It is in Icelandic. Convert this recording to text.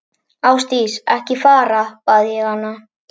Ásdís, ekki fara, bað ég hana.